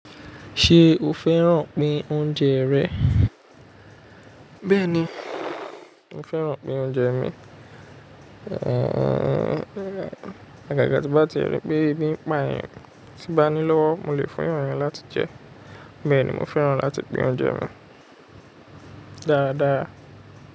Ṣé o fẹ́ràn pín oúnjẹ rẹ̀? Bẹ́ẹ̀ni, mo fẹ́ràn pín oúnjẹ mi. Àgàgà tí bá ti ri pé ẹbí ń pa eeyan, tí bá ní lọ́wọ́, mo lè fún èeyàn yen láti jẹ Bẹ́ẹ̀ ni mo fẹ́ràn láti pín oúnjẹ Dáadáa.